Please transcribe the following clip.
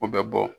O bɛ bɔ